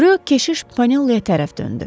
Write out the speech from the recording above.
Rö keşiş Paneloya tərəf döndü.